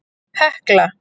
Hekla